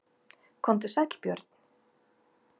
Komdu sæll Björn.